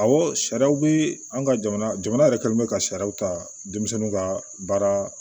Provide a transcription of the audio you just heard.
Awɔ sariyaw bɛ an ka jamana jamana yɛrɛ kɛlen ka sariyaw ta denmisɛnw ka baara